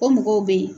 O mɔgɔw bɛ yen